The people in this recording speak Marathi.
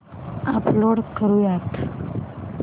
अपलोड करुयात